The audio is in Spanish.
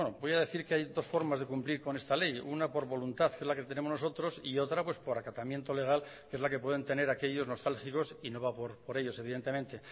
bueno voy a decir que hay dos formas de cumplir con esta ley una por voluntad que es la que tenemos nosotros y otra por acatamiento legal que es la que puedan tener aquellos nostálgicos y no va por ellos evidentemente